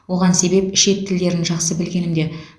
оған себеп шет тілдерін жақсы білгенімде